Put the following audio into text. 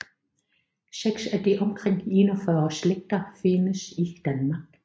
Seks af de omkring 41 slægter findes i Danmark